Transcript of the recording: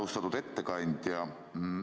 Austatud ettekandja!